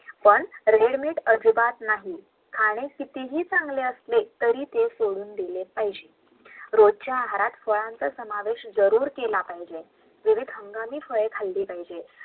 पण READYMADE अजिबात नाही खाणे कितीही चांगले असले तरी ते सोडून दिले पाहीजे रोजच्या आहारात फळांचा समावेश जरूर केला पाहिजे विविध हंगामी फळे खाल्ले पाहिजे